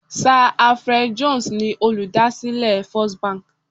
Sa Alfred Jones ni olùdásílẹ̀ First Bank